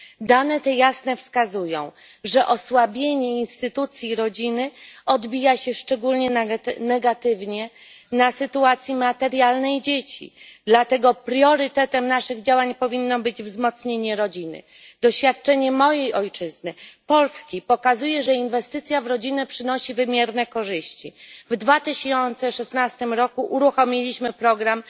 Dane te jasno wskazują, że osłabienie instytucji rodziny odbija się szczególnie negatywnie na sytuacji materialnej dzieci. Dlatego priorytetem naszych działań powinno być wzmocnienie rodziny. Doświadczenie mojej ojczyzny, Polski pokazuje, że inwestycje w rodzinę przynoszą wymierne korzyści. W 2016 roku uruchomiliśmy program